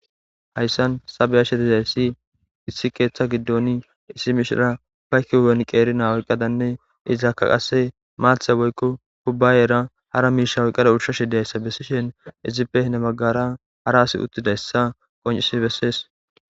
Hayssan beyashe diza issi issi keeththa giddon issi mishira ba kiyuwan qeeri naa'a oyiqqadanne izaakka qasse maatha woykko kubbaayera hara miisha woyqqada ushashi day issa bessishen ,izipe hine baggara hara asi uttida issa qonccisi bessees.